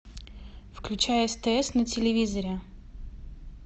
включай стс на телевизоре